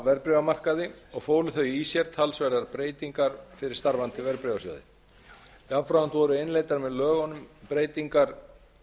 verðbréfamarkaði og fólu þau í sér talsverðar breytingar fyrir starfandi verðbréfasjóði jafnframt voru innleiddar með lögunum breytingar